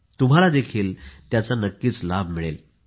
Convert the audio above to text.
तुम्हाला देखील त्याचा लाभ मिळेल